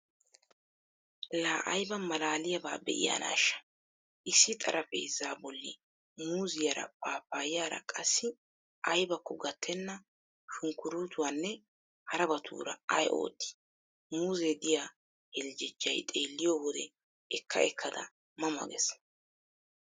Laa ayba maalaaliyaabaa be'iyaanaashsha issi xaraphpheezzaa bolli muuzziyaara, paapayaara qassi aybbakko gattenna shunkkuruttuwanne harabaatura ay ootti? Muuze diya heljejjay xeelliyo wode ekka ekkada ma ma gees.